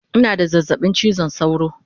Ina da zazzabin chizon sauro